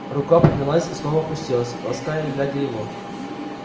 рука поднялась и снова опустилась лаская и глядя его